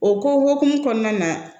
O ko hokumu kɔnɔna na